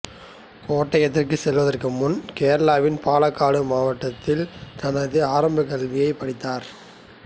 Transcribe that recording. கோட்டயத்திற்குச் செல்வதற்கு முன்பு கேரளாவின் பாலக்காடு மாவட்டத்தில் தனது ஆரம்பக் கல்வியைச் படித்தார்